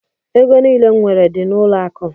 Ego niile m nwere dị n'ụlọ akụ.